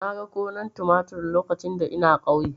Na ga gonar tumatir lokacin da ina ƙauye.